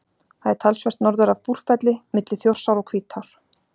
Það er talsvert norður af Búrfelli, milli Þjórsár og Hvítár.